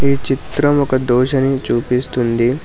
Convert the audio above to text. ఈ చిత్రం ఒక దోస ని చూపిస్తోంది.